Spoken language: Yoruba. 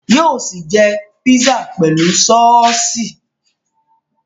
Yóò sì jẹ pizza pẹ̀lú sọ́ọ́sì